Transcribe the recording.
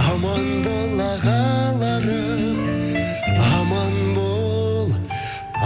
аман бол ағаларым аман бол